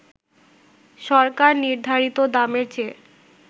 সরকার নির্ধারিত দামের চেয়ে